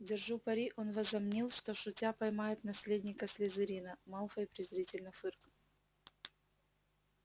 держу пари он возомнил что шутя поймает наследника слизерина малфой презрительно фыркнул